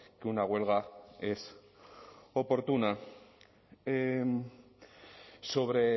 que una huelga es oportuna sobre